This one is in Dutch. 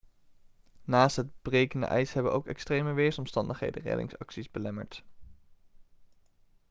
naast het brekende ijs hebben ook extreme weersomstandigheden reddingsacties belemmerd